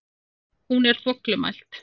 Hún er þvoglumælt.